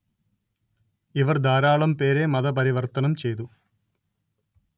ഇവര്‍ ധാരാളം പേരെ മത പരിവര്‍ത്തനം ചെയ്തു